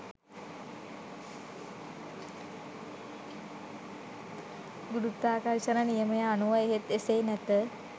ගුරුත්වාකර්ෂන නියමය අනුව එහෙත් එසේ නැත